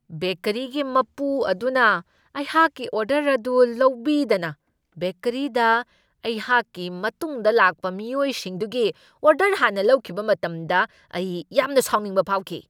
ꯕꯦꯀꯔꯤꯒꯤ ꯃꯄꯨ ꯑꯗꯨꯅ ꯑꯩꯍꯥꯛꯀꯤ ꯑꯣꯗꯔ ꯑꯗꯨ ꯂꯧꯕꯤꯗꯅ ꯕꯦꯀꯔꯤꯗ ꯑꯩꯍꯥꯛꯀꯤ ꯃꯇꯨꯡꯗ ꯂꯥꯛꯄ ꯃꯤꯑꯣꯏꯁꯤꯡꯗꯨꯒꯤ ꯑꯣꯗꯔ ꯍꯥꯟꯅ ꯂꯧꯈꯤꯕ ꯃꯇꯝꯗ ꯑꯩ ꯌꯥꯝꯅ ꯁꯥꯎꯅꯤꯡꯕ ꯐꯥꯎꯈꯤ ꯫